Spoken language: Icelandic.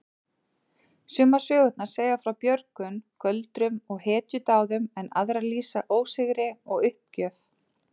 Sumar sögurnar segja frá björgun, göldrum og hetjudáðum en aðrar lýsa ósigri og uppgjöf.